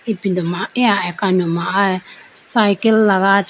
ipindu ma eya akano ma aya cycle lagacha.